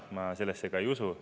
Ma sellesse ka ei usu.